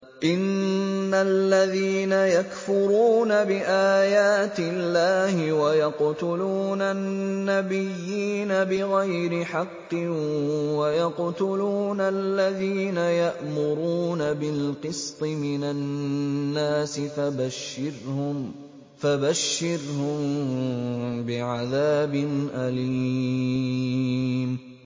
إِنَّ الَّذِينَ يَكْفُرُونَ بِآيَاتِ اللَّهِ وَيَقْتُلُونَ النَّبِيِّينَ بِغَيْرِ حَقٍّ وَيَقْتُلُونَ الَّذِينَ يَأْمُرُونَ بِالْقِسْطِ مِنَ النَّاسِ فَبَشِّرْهُم بِعَذَابٍ أَلِيمٍ